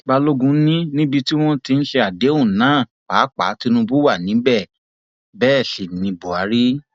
balógun ni níbi tí wọn ti ń ṣe àdéhùn náà pàápàá tinubu wà níbẹ bẹẹ sí ní buhari